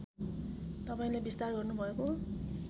तपाईँले विस्तार गर्नुभएको